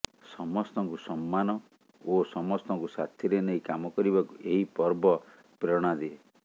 ସମସ୍ତଙ୍କୁ ସମ୍ମାନ ଓ ସମସ୍ତଙ୍କୁ ସାଥିରେ ନେଇ କାମ କରିବାକୁ ଏହି ପର୍ବ ପ୍ରେରଣା ଦିଏ